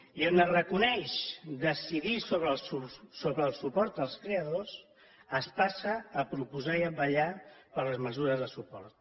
i on es reconeix decidir sobre el suport als creadors es passa a proposar i a vetllar per les mesures de suport